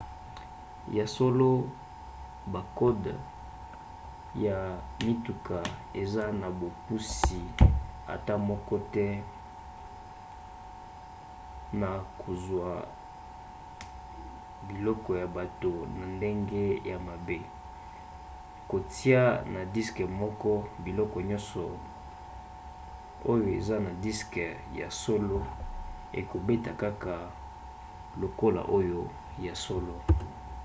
ya solo bakode ya bituka eza na bopusi ata moko te na kozwa biloko ya bato na ndenge ya mabe; kotia na diske moko biloko nyonso oyo eza na diske ya solo ekobeta kaka lokola oyo ya solo